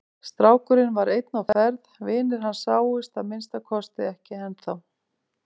Strákurinn var einn á ferð, vinir hans sáust að minnsta kosti ekki ennþá.